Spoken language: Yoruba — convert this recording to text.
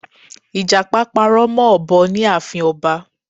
Ìjàpá parọ́ mọ́ òbọ ní ààfin ọba